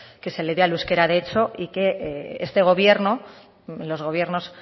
que se le dé al euskera de hecho y que este gobierno los gobiernos